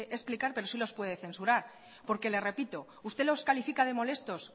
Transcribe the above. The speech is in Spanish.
explicar pero sí nos puede censurar porque le repito usted los califica de molestos